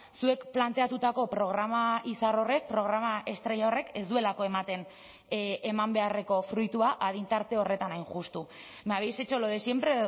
zuek planteatutako programa izar horrek programa estrella horrek ez duelako ematen eman beharreko fruitua adin tarte horretan hain justu me habéis hecho lo de siempre